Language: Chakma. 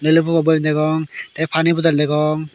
ele bugol boem degong te pani bodol degong.